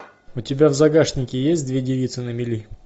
у тебя в загашнике есть две девицы на мели